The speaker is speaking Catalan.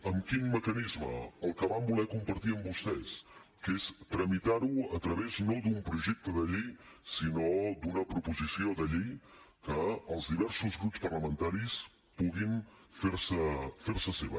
amb quin mecanisme el que vam voler compartir amb vostès que és tramitar ho a través no d’un projecte de llei sinó d’una proposició de llei que els diversos grups parlamentaris puguin fer se seva